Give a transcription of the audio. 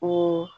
Ko